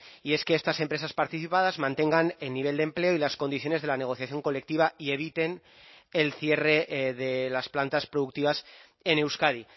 y es que estas empresas participadas mantengan el nivel de empleo y las condiciones de la negociación colectiva y eviten el cierre de las plantas productivas en euskadi